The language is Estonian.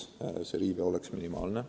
Riive peab olema minimaalne.